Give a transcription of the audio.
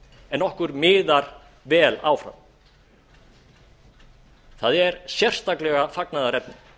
en okkur miðar vel áfram það er sérstaklega fagnaðarefni